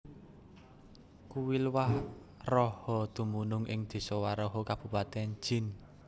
Kuil Waraha dumunung ing Desa Waraha Kabupaten Jind